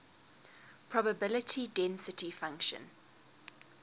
probability density function